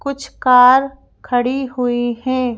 कुछ कार खड़ी हुई हैं।